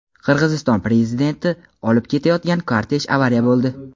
Qirg‘iziston Prezidentini olib ketayotgan kortej avariya bo‘ldi.